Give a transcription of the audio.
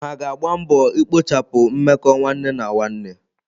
Oha ga-agba mbọ ikpochapụ mmekọ nwanne na nwanne.